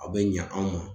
A bɛ ɲa anw ma